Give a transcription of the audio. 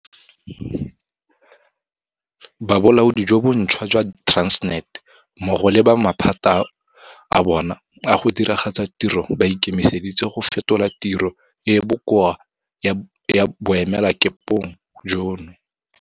Ba bolaodi jo bontšhwa jwa Transnet mmogo le ba maphata a bona a go diragatsa tiro ba ikemiseditse go fetola tiro e e bokoa ya boemelakepe jono.